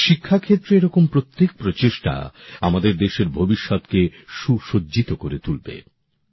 শিক্ষা ক্ষেত্রে এরকম প্রত্যেক উদ্যোগ আমাদের দেশের ভবিষ্যতকে সুসজ্জিত করে তুলবে